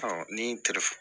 ni telefɔni